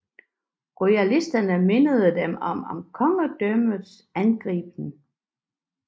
Royalisterne mindedes dem som kongedømmets angribere